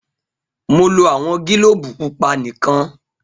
Mo lo awọn gilobu pupa nikan